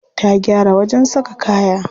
Ta gyara wajen saka kaya.